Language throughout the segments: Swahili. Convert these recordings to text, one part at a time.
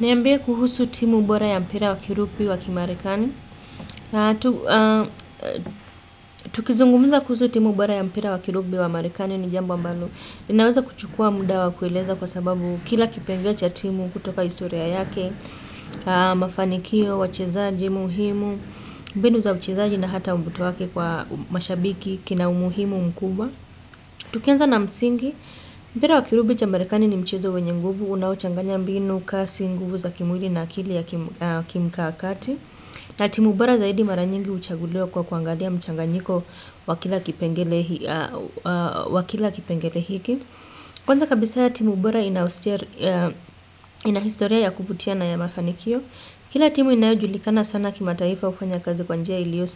Niambie kuhusu timu bora ya mpira wakirupi wakimarekani Tukizungumuza kuhusu timu bora ya mpira wakirubi wakimarekani ni jambo ambalo inaweza kuchukua muda wa kueleza kwa sababu kila kipengee cha timu kutoka historia yake Mafanikio, wachezaji, muhimu, mbinu za uchezaji na hata mvuto wake kwa mashabiki kina umuhimu mkubwa Tukianza na msingi, mpira wakirubi wakimarekani ni mchezo wenye nguvu Unaochanganya mbinu, kasi, nguvu za kimwili na akili ya kimkakati na timubora zaidi maranyingi huchaguliwa kwa kuangalia mchanganyiko wakila kipengele hiki Kwanza kabisa ya timubora inahistoria ya kuvutia na ya mafanikio Kila timu inayojulikana sana kima taifa hufanya kazi kwanjia ilio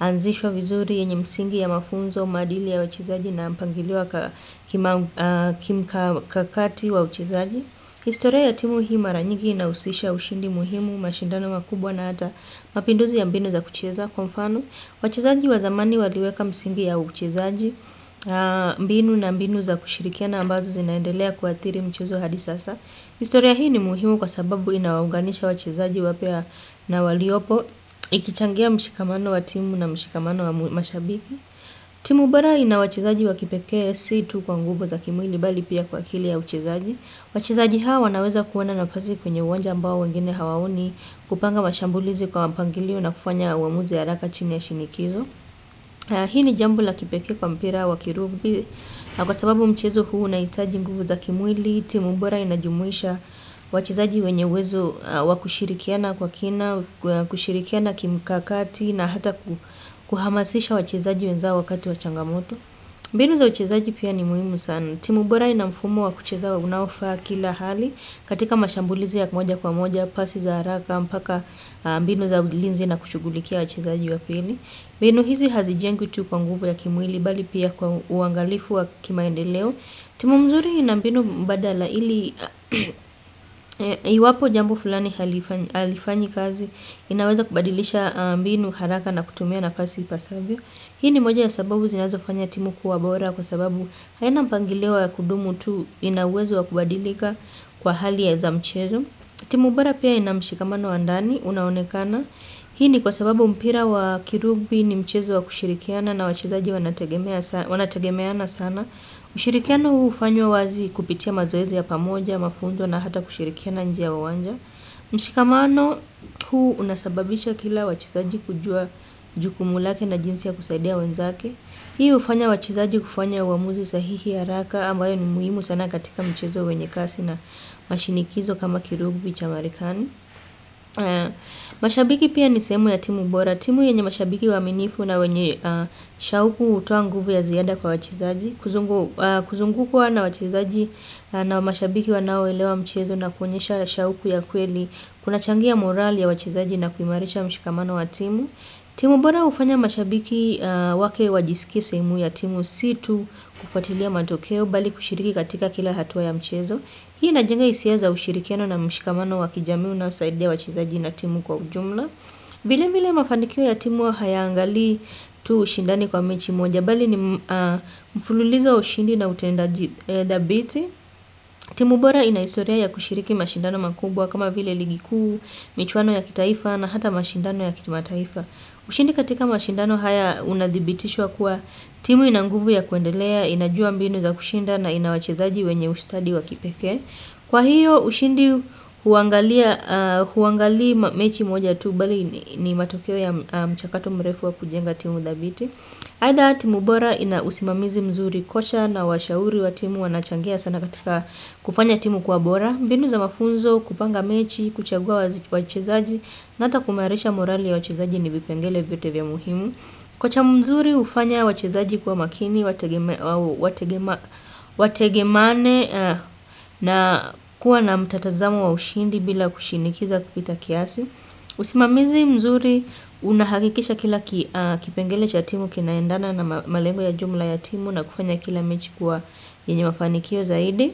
anzishwa vizuri, yenye msingi ya mafunzo, maadili ya wachezaji na mpangilio wa kimkakati wa uchezaji historia ya timu hii maranyigi inahusisha ushindi muhimu, mashindano makubwa na hata mapinduzi ya mbinu za kucheza, kwa mfano. Wachezaji wa zamani waliweka msingi ya uchezaji, mbinu na mbinu za kushirikia na ambazo zinaendelea kuathiri mchezo hadi sasa. Historia hii ni muhimu kwa sababu inaunganisha wachezaji wapya na waliopo, ikichangia mshikamano wa timu na mshikamano wa mashabiki. Timu bora ina wachezaji wakipekee situ kwa nguvu za kimwili bali pia kwa akili ya uchezaji. Wachezaji hawa wanaweza kuona nafasi kwenye uwanja ambao wengine hawaoni kupanga mashambulizi kwa mpangilio na kufanya uamuzi ya haraka chini ya shinikizo Hii ni jambo la kipekee kwa mpira wa kirubi na kwa sababu mchezo huu unahitaji nguvu za kimwili Timubora inajumuisha wachezaji wenye uwezo wakushirikiana kwa kina, kushirikiana kimkakati na hata kuhamasisha wachezaji wenzao wakati wa changamoto mbinu za uchezaji pia ni muhimu sana Timubora ina mfumo wa kucheza unaofaa kila hali katika mashambulizi ya moja kwa moja, pasi za haraka, mpaka mbinu za ulinzi na kushughulikia wachezaji wa pili. Mbinu hizi hazijengwi tu kwa nguvu ya kimwili, bali pia kwa uangalifu wa kimaendeleo. Timu mzuri ina mbinu mbadala ili, iwapo jambo fulani halifanyi kazi, inaweza kubadilisha mbinu haraka na kutumia na fasi ipasavyo. Hii ni moja ya sababu zinazo fanya timu kuwa bora kwa sababu haina mpangilio ya kudumu tu ina uwezo wa kubadilika kwa hali ya za mchezo. Timu bora pia ina mshikamano wa ndani unaonekana. Hii ni kwa sababu mpira wa kirubi ni mchezo wa kushirikiana na wachezaji wanategemeana sana. Ushirikiano huu hufanywa wazi kupitia mazoezi ya pamoja, mafunzo na hata kushirikiana nje ya uwanja. Mshikamano huu unasababisha kila wachezaji kujua jukumulake na jinsi ya kusaidia wenzake Hii hufanya wachezaji kufanya uamuzi sahihi haraka ambayo ni muhimu sana katika mchezo wenye kasi na mashinikizo kama kirubi chamarekani mashabiki pia ni sehemu ya timu bora timu yenye mashabiki waaminifu na wenye shauku hutoa nguvu ya ziada kwa wachezaji Kuzungukwa na wachezaji na mashabiki wanao elewa mchezo na kuonyesha shauku ya kweli Kuna changia morali ya wachezaji na kuimarisha mshikamano wa timu timu bora hufanya mashabiki wake wajisikie sehemu ya timu situ kufuatilia matokeo Bali kushiriki katika kila hatua ya mchezo Hii ina jenga hisia za ushirikiano na mshikamano wa kijamii unaosaidia wachezaji na timu kwa ujumla vile vile mafanikio ya timu hayaangalii tu ushindani kwa mechi moja ya bali ni mfululizo wa ushindi na utendaji dhabiti. Timu bora ina historia ya kushiriki mashindano makubwa, kama vile ligi kuu, michuano ya kitaifa na hata mashindano ya kitimataifa. Ushindi katika mashindano haya unadhibitishwa kuwa timu inanguvu ya kuendelea, inajua mbinu za kushinda na inawachezaji wenye ustadi wa kipekee Kwa hiyo, ushindi huangalii mechi moja tu, bali ni matokeo ya mchakato mrefu wa kujenga timu dhabiti. Aidha timu bora ina usimamizi mzuri kocha na washauri watimu wanachangia sana katika kufanya timu kwa bora. Mbinu za mafunzo, kupanga mechi, kuchagua wachezaji na hata kuimarisha morali ya wachezaji nivipengele vyote vya muhimu. Kocha mzuri hufanya wachezaji kuwa makini, wategemeane na kuwa na mtatazamo wa ushindi bila kushinikiza kupita kiasi. Usimamizi mzuri unahakikisha kila kipengele cha timu kinaendana na malengo ya jumla ya timu na kufanya kila mechi kuwa yenye mafani kio zaidi.